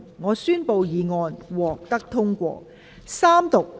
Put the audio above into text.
我宣布議案獲得通過。